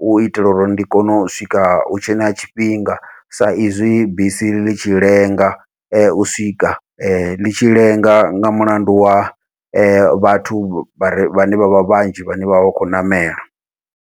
u itela uri ndi kone u swika hutshe na tshifhinga sa izwi bisi ḽi tshi lenga u swika, ḽi tshi lenga nga mulandu wa vhathu vhare vhane vha vha vhanzhi vhane vha vha vha khou ṋamela.